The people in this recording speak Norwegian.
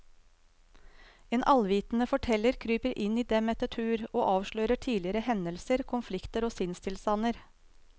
En allvitende forteller kryper inn i dem etter tur og avslører tidligere hendelser, konflikter og sinnstilstander.